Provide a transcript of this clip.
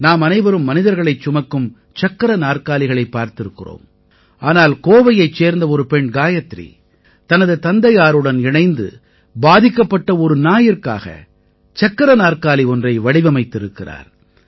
நாம் அனைவரும் மனிதர்களைச் சுமக்கும் சக்கர நாற்காலிகளைப் பார்த்திருக்கிறோம் ஆனால் கோவையைச் சேர்ந்த ஒரு பெண் காயத்ரி தனது தந்தையாருடன் இணைந்து பாதிக்கப்பட்ட ஒரு நாயிற்காக சக்கர நாற்காலி ஒன்றை வடிவமைத்திருக்கிறார்